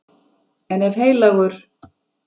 En ef Heilagur